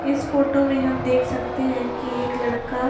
इस फोटो में हम देख सकते हैं की एक लड़का --